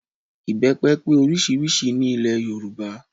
Ìbẹ́pẹ pé oríṣiríṣi ní ilẹ̀ Yorùbá